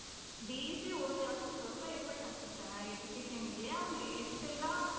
DC ಓದಿರೋನು ಸ್ವಲ್ಪ effort ಹಾಕಿರ್ತಾನೆ ಆ education ಗೆ ಅವನು ಎಷ್ಟೆಲ್ಲಾ